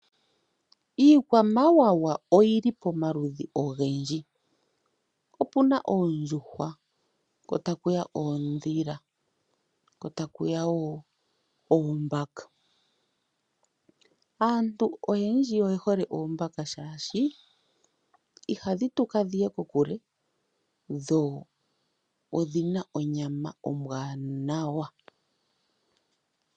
Iikwamawawa oyili pamaludhi ogendji opuna oondjuhwa, kotakuya oondhila kotakuya woo oombaka. Aantu oyendji oye hole oombaka shaashi ihadhi tuka dhiye kokule dho odhin onyama ombwaanawa.